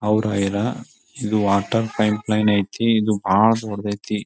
ಅವ್ರ ಅಯ್ರ ಇದು ವಾಟರ್ ಪೈಪ್ ಲೈನ್ ಐತಿ ಇದು ಬಹಳ ದೊಡ್ಡದಾಯಿತೀ.